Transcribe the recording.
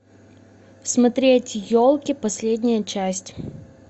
смотреть елки последняя часть